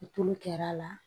Tulu kɛra la